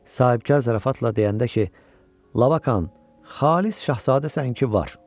Sahibkar zarafatla deyəndə ki, Labakan, xalis şahzadəsən ki, var.